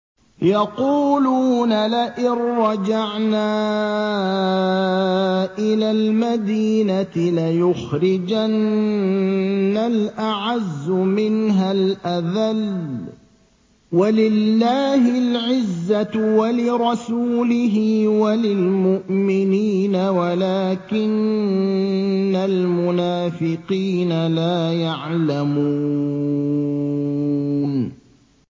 يَقُولُونَ لَئِن رَّجَعْنَا إِلَى الْمَدِينَةِ لَيُخْرِجَنَّ الْأَعَزُّ مِنْهَا الْأَذَلَّ ۚ وَلِلَّهِ الْعِزَّةُ وَلِرَسُولِهِ وَلِلْمُؤْمِنِينَ وَلَٰكِنَّ الْمُنَافِقِينَ لَا يَعْلَمُونَ